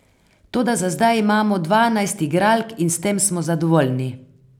Toda za zdaj imamo dvanajst igralk in s tem smo zadovoljni.